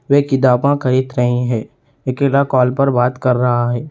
वे किताबा खरीद रही हैं। अकेला कॉल पर बात कर रहा है।